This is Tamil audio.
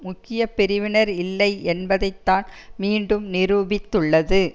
முக்கிய பிரிவினர் இல்லை என்பதை தான் மீண்டும் நிரூபித்துள்ளது